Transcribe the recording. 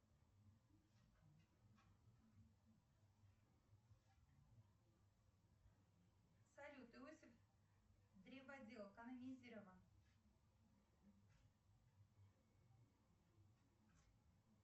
салют иосиф древодел канонизирован